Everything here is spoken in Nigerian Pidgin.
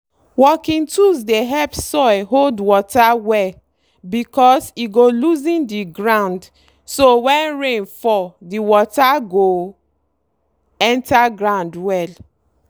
working tools dey help soil hold water well because e go loosen the ground so when rain fall the water go enter ground well.